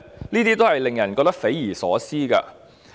這都令人感到匪夷所思。